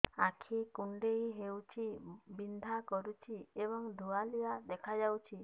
ଆଖି କୁଂଡେଇ ହେଉଛି ବିଂଧା କରୁଛି ଏବଂ ଧୁଁଆଳିଆ ଦେଖାଯାଉଛି